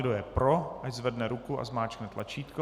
Kdo je pro, ať zvedne ruku a zmáčkne tlačítko.